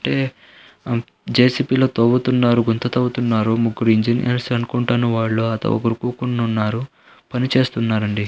ఇటే జే.సీ.బీ. లో తవ్వుతున్నారు. గుంత తవ్వుతున్నారు. ముగ్గురు ఇంజనీర్స్ అనుకుంటాను వాళ్ళు గుమిగూడి ఉన్నారు. పని చేస్తున్నారు అండి.